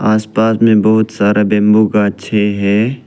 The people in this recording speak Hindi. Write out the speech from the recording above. आस पास में बहोत सारा बैंबू गाछे है।